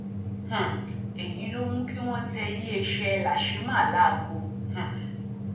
um èyí ló mú kí wọn tẹ iléeṣẹ làṣémà láago um